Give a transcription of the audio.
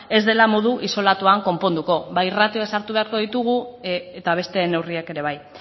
ez dela modu isolatuan konponduko bai ratioak sartu beharko ditugu eta beste neurriak ere bai